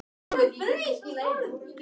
Ég reyndi að koma samræðum af stað.